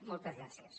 moltes gràcies